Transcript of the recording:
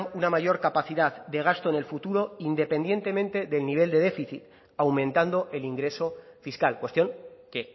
una mayor capacidad de gasto en el futuro independientemente del nivel de déficit aumentando el ingreso fiscal cuestión que